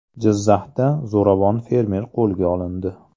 Jizzaxda zo‘ravon fermer qo‘lga olindi.